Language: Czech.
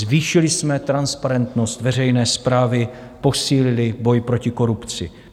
Zvýšili jsme transparentnost veřejné správy, posílili boj proti korupci.